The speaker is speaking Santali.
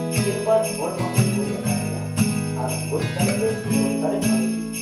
ᱜᱮᱞᱵᱟᱨ ᱦᱚᱲ ᱢᱟᱯᱮ ᱜᱚᱡ ᱟᱠᱟᱫ ᱞᱮᱭᱟ, ᱟᱨᱦᱚᱸ ᱜᱚᱡ ᱠᱟᱞᱮᱯᱮ ᱡᱚᱛᱚ ᱥᱟᱨᱮᱡ ᱢᱟᱨᱮᱡᱤᱡ ᱾